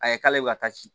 A ye k'ale bɛ ka taa ci